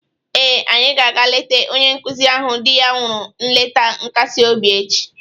Ee, anyị ga-aga leeta onye nkụzi ahụ di ya nwụrụ nleta nkasi obi echi